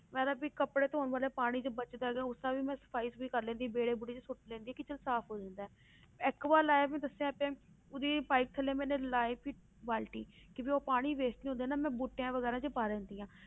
ਮੈਂ ਤਾਂ ਵੀ ਕੱਪੜੇ ਧੌਣ ਵਾਲਾ ਪਾਣੀ ਜੇ ਬਚਦਾ ਹੈਗਾ ਉਹਦੇ ਨਾਲ ਵੀ ਮੈਂ ਸਫ਼ਾਈ ਸਫ਼ੂਈ ਕਰ ਲੈਂਦੀ ਹਾਂ ਵਿਹੜੇ ਵੂਹੜੇ 'ਚ ਸੁੱਟ ਲੈਂਦੀ ਹਾਂ ਕਿ ਚੱਲ ਸਾਫ਼ ਹੋ ਜਾਂਦਾ ਹੈ ਐਕੂਆ ਲਾਇਆ ਵੀ ਦੱਸਿਆ ਤੇ ਉਹਦੀ ਪਾਇਪ ਥੱਲੇ ਮੈਨੇ ਲਾਈ ਵੀ ਬਾਲਟੀ ਕਿ ਉਹ ਪਾਣੀ waste ਨੀ ਹੋਣ ਦੇਣਾ ਮੈਂ ਬੂਟਿਆਂ ਵਗ਼ੈਰਾ 'ਚ ਪਾ ਦਿੰਦੀ ਹਾਂ।